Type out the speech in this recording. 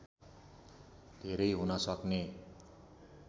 धेरै हुन सक्ने